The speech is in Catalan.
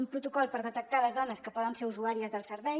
un pro·tocol per detectar les dones que poden ser usuàries del servei